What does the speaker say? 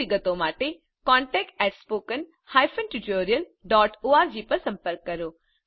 વધુ વિગતો માટે contactspoken tutorialorg પર સંપર્ક કરો